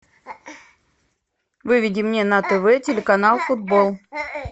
выведи мне на тв телеканал футбол